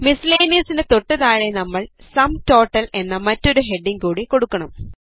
Miscellaneousനു തൊട്ട് താഴെ നമ്മൾ സും ടോട്ടൽ എന്ന മറ്റൊരു ഹെഡിംഗ് കൂടി കൊടുക്കണം